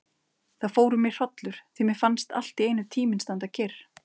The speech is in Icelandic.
Það fór um mig hrollur því mér fannst alltíeinu tíminn standa kyrr.